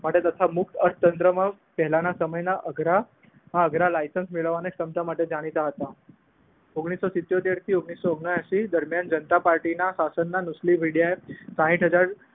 માટે તથા મુખ અર્થ તંત્રમાં પહેલાના સમયના અઘરા હા અધર લાયસન્સ મેળવવાને અને માટે જાણીતા હતા. ઓગણીસો સિત્યોતેર થી ઓગણીસો ઓગણાએશી દરમિયાન જાણતા પાર્ટીના શાસનના નુસ્લી વીડિયાએ સાહીઠ હજાર